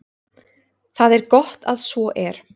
Það er gott að svo er.